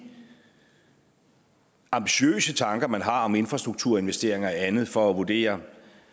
ambitiøse tanker man har om infrastrukturinvesteringer og andet for at vurdere om